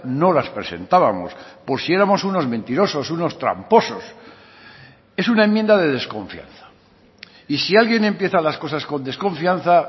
no las presentábamos por si éramos unos mentirosos unos tramposos es una enmienda de desconfianza y si alguien empieza las cosas con desconfianza